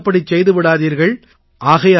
தயவு செய்து அப்படிச் செய்து விடாதீர்கள்